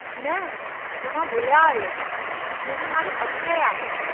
न, तव्हां भुलिया आहियो, मुंहिंजो नालो अक्षय आहे।